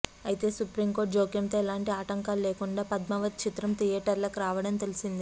అయితే supreme court జోక్యంతో ఎలాంటి ఆటంకాలు లేకుండా పద్మావత్ చిత్రం థియేటర్లకు రావడం తెలిసిందే